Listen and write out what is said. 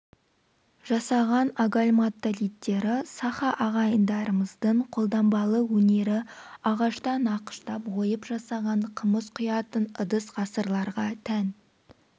жасаған агальматолиттері саха ағайындарымыздың қолданбалы өнері ағаштан нақыштап ойып жасаған қымыз құятын ыдыс ғасырларға тән